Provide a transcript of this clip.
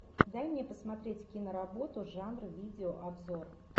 дай мне посмотреть киноработу жанра видеообзор